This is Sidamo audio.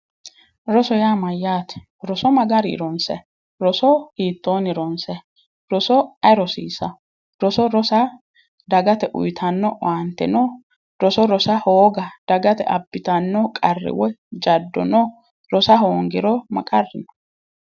Roso yaa mayyaate? Roso ma garii ronsayi? Roso hiittoonni ronsayi? Roso ayi rosiisa? Roso rosa dagate uyitanno owaante no? Roso rosa hooga dagate abbitanno qarri woy jaddo no? Rosa hoongiro ma qarri no?